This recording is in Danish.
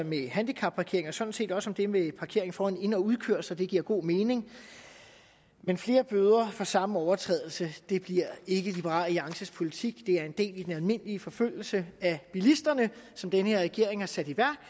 med handicapparkering og sådan set også for det med parkering foran ind og udkørsler det giver god mening men flere bøder for samme overtrædelse bliver ikke liberal alliances politik det er en del af den almindelige forfølgelse af bilisterne som den her regering har sat i værk